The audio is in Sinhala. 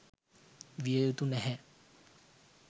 විය යුතු නැහැ.